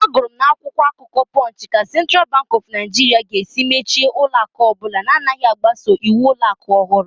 I read on punch news paper how central bank of Nigeria will be closing down any bank that will not adhere to the new banking rules